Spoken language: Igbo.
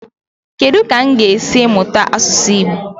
Kedu ka m ga-esi mụta asụsụ Igbo?